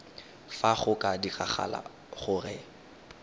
fa go ka diragala gore